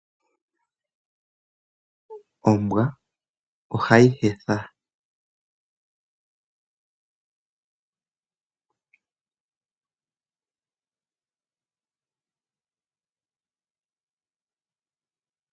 Ombwa ohayi hetha.